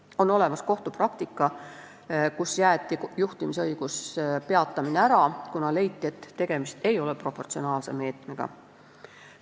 On olemas kohtupraktika, kus jäeti juhtimisõiguse peatamine ära, kuna leiti, et tegemist ei ole proportsionaalse meetmega.